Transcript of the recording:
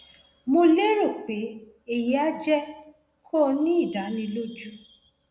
mo lérò pé èyí á jẹ kó o ní ìdánilójú